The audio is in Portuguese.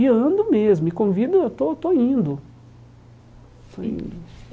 E ando mesmo, e com vida eu estou estou indo estou indo.